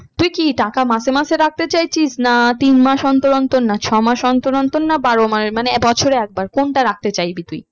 তুই কি টাকা মাসে মাসে রাখতে চাইছিস না তিন মাস অন্তর অন্তর না ছমাস অন্তর অন্তর না বারো মানে বছরে একবার কোনটা রাখতে চাইবি তুই?